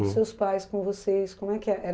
Hum, os seus pais com vocês, como é que é?